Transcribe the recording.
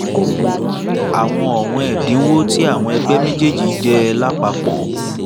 àwọn ọ̀wọ́n ẹ̀dínwó ti àwọn ẹgbẹ́ méjéèjì jẹ́ lápapọ̀